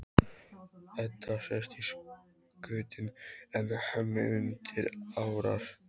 Edda sest í skutinn en Hemmi undir árar.